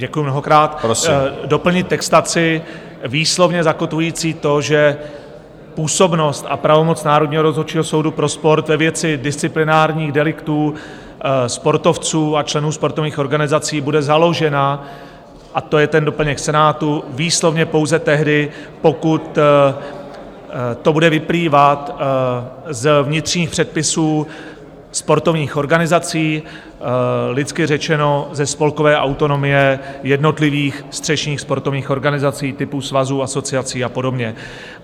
Děkuji mnohokrát, doplnit textaci výslovně zakotvující to, že působnost a pravomoc Národního rozhodčího soudu pro sport ve věci disciplinárních deliktů sportovců a členů sportovních organizací bude založena, a to je ten doplněk Senátu, výslovně pouze tehdy, pokud to bude vyplývat z vnitřních předpisů sportovních organizací, lidsky řečeno, ze spolkové autonomie jednotlivých střešních sportovních organizací typu svazů, asociací a podobně.